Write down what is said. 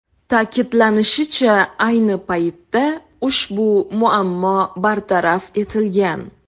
Ta’kidlanishicha, ayni paytda ushbu muammo bartaraf etilgan.